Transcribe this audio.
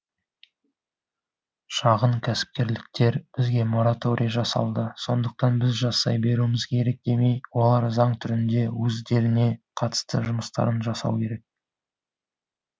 шағын кәсіпкерліктер бізге мараторий жасалды сондықтан біз жасай беруіміз керек демей олар заң түрінде өздеріне қатысты жұмыстарын жасау керек